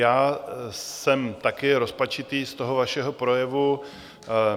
Já jsem taky rozpačitý z toho vašeho projevu.